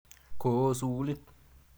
Ko oo sukulit.